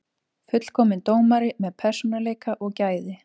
Fullkominn dómari með persónuleika og gæði.